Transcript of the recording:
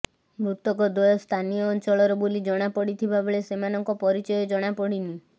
ମୃତକଦ୍ୱୟ ସ୍ଥାନୀୟ ଅଞ୍ଚଳର ବୋଲି ଜଣାପଡ଼ିଥିବା ବେଳେ ସେମାନଙ୍କ ପରିଚୟ ଜଣାପଡ଼ିନି